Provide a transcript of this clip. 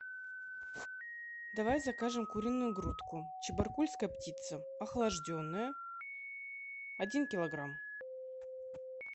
давай закажем куриную грудку чебаркульская птица охлажденная один килограмм